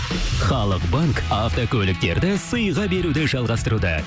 халық банк автокөліктерді сыйға беруді жалғастыруда